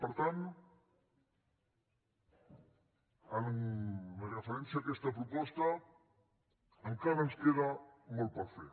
per tant amb referència a aquesta proposta encara ens queda molt per fer